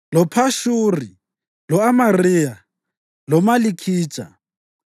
loPhashuri, lo-Amariya, loMalikhija,